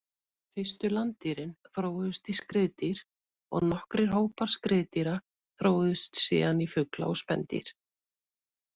Fyrstu landdýrin þróuðust í skriðdýr og nokkrir hópar skriðdýra þróuðust síðan í fugla og spendýr.